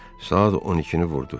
Saat 12-ni vurdu.